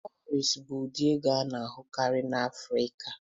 Kawurisi bụ ụdị ego a na-ahụkarị n'Afrika.